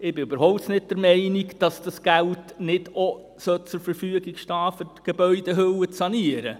Ich bin überhaupt nicht der Meinung, dass das Geld nicht auch zur Verfügung stehen sollte, um die Gebäudehülle zu sanieren.